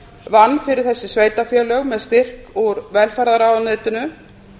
vann fyrir þessi sveitarfélög með styrk úr velferðarráðuneytinu